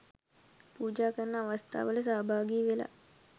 පූජා කරන අවස්ථාවට සහභාගිවෙලා